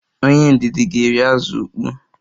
Onye ndidi ga-eri azụ ukpoo